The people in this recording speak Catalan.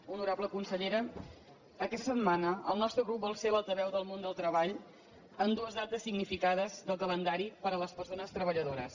honorable consellera aquesta setmana el nostre grup vol ser l’altaveu del món del treball en dues dates significades del calendari per a les persones treballadores